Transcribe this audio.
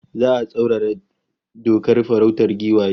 Za'a tsaurara dokar farautar giwaye